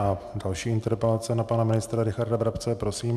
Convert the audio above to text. A další interpelace na pana ministra Richarda Brabce, prosím.